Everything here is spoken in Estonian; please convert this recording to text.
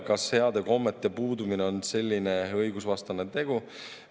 Kas heade kommete puudumine on selline õigusvastane tegu?